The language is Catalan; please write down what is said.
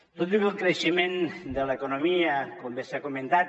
tot i el creixement de l’economia com bé s’ha comentat